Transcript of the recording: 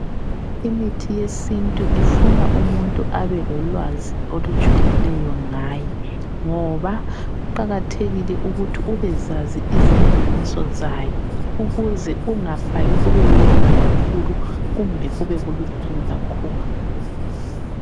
Imithi yesintu ifuna umuntu abe lolwazi olujulileyo ngayo ngoba kuqakathekile ukuthi ubezazi izilinganiso zayo ukuze ungafaki kube kunengi kakhulu, kumbe kube kulutshwane kakhulu.